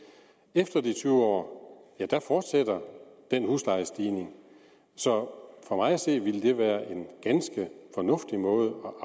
efter de tyve år fortsætter den huslejestigning så for mig at se vil det være en ganske fornuftig måde